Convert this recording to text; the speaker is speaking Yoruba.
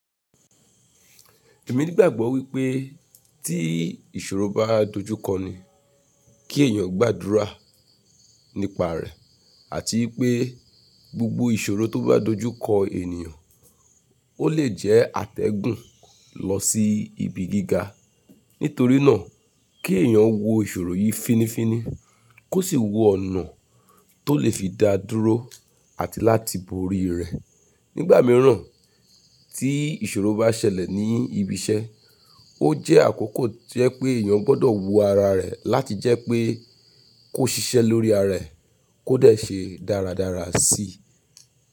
Èmi ní gbàgbọ́ wípé tí ìṣòro bá dojú kọ ni kí ẹ̀yàn gbádúrà nípa rẹ̀ àti wípé gbogbo ìṣòro tó bá dojú kọ ènìyàn, ó lè jẹ́ àtẹ̀gùn lọ sí ibi gíga. Nítorínà kí ẹ̀yàn wo ìṣòro yi finifini, kó sì wo ọ̀nà tó lè fi da dúró àti láti borí rẹ̀. Nígbà mìíràn tí ìṣòro bá ṣẹlẹ̀ ní ibi iṣẹ́, ó jẹ́ àkókò tí ẹ pé ẹ̀yàn gbọ́dọ̀ wo ara rẹ̀ láti jẹ́ pé kó ṣiṣẹ́ lórí ara ẹ̀ kó dẹ̀ ṣe dáradára si.